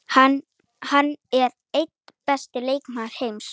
Hann er einn besti leikmaður heims.